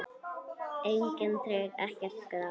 Engin tré, ekkert gras.